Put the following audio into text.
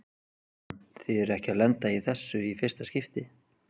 Jóhann: Þið eruð ekki að lenda í þessu í fyrsta skipti?